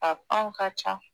A fɛnw ka ca